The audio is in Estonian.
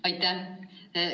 Aitäh!